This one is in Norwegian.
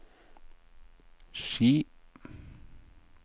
Ski